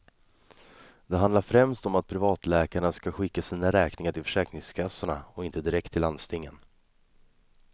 Det handlar främst om att privatläkarna ska skicka sina räkningar till försäkringskassorna och inte direkt till landstingen.